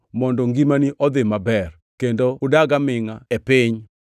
mondo ngimani odhi maber, kendo udag amingʼa e piny.” + 6:3 \+xt Rap 5:16\+xt*